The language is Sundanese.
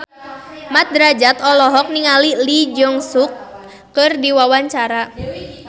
Mat Drajat olohok ningali Lee Jeong Suk keur diwawancara